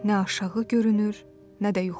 Nə aşağı görünür, nə də yuxarı.